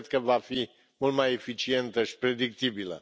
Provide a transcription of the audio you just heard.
Cred că va fi mult mai eficientă și predictibilă.